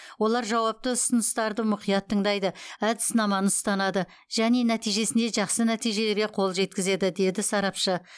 олар жауапты ұсыныстарды мұқият тыңдайды әдіснаманы ұстанады және нәтижесінде жақсы нәтижелерге қол жеткізеді деді сарапшы